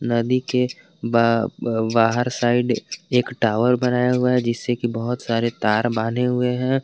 नदी के बा-बाहर साइड एक टावर बनाया हुआ है जिससे कि बहुत सारे तार बांधे हुए हैं।